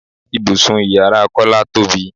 Ibùsùn ìyára Kọ́lá tóbi.